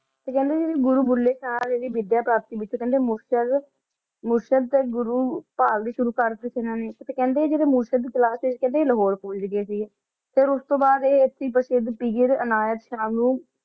ਤੇ ਕੇਹ੍ਨ੍ਡੇ ਜੇਰੀ ਗੁਰੂ ਭੁੱਲੇ ਸ਼ਾਹ ਜਦੋਂ ਵਿਧ੍ਯ ਪ੍ਰਾਪਤ ਕੀਤੀ ਤੇ ਕੇਹ੍ਨ੍ਡੇ ਮੁਰਸ਼ਦ ਮੁਰਸ਼ਦ ਤੇ ਗੁਰੂ ਦੀ ਬਹਾਲ ਵੀ ਸ਼ੁਰੂ ਕਰਤੀ ਸੀ ਇਨਾਂ ਨੇ ਕੇਹ੍ਨ੍ਡੇ ਜਦੋਂ ਮੁਰਸ਼ਦ ਕੋਲ ਆਯ ਲਾਹੋਰੇ ਪੋਹੰਚ ਗਾਯ ਸੀਗੇ ਫੇਰ ਓਸ ਤੋਂ ਬਾਅਦ ਆਯ ਅਸੀਂ ਪੇਰ੍ਸਿਧ ਪੀਰ ਅਨਾਯਤ ਸ਼ਾਹ ਨੂ